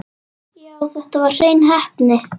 Já, þetta var hrein heppni.